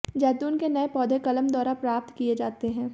ज़ैतून के नए पौधे कलम द्वारा प्राप्त किए जाते हैं